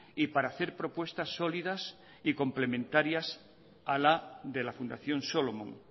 y para hacer propuestas solidas y complementarias a la de la fundación solomon